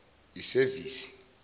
isevisi